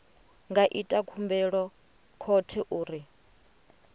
nga ita khumbelo khothe uri